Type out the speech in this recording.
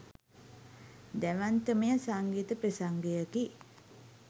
දැවැන්තමය සංගීත ප්‍රසංගයකි.